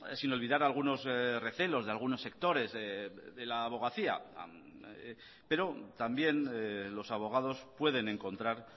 sin olvidar algunos recelos de algunos sectores de la abogacía pero también los abogados pueden encontrar